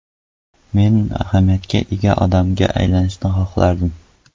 Men ahamiyatga ega odamga aylanishni xohlardim.